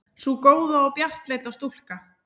Sú góða og bjartleita stúlka.